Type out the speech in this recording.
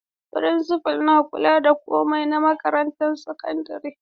Firinsifal ne ke kula da komai na makarantar sakandare.